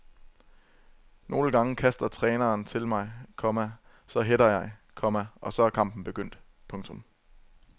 Nogle gange kaster træneren til mig, komma så header jeg, komma og så er kampen begyndt. punktum